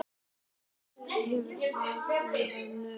Kristin, hvernig er veðrið á morgun?